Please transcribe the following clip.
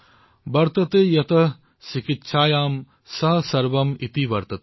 ৱৰ্ততে য়ত্ চিকিৎসায়াং স সবৰ্ম ইতি বৰ্ততে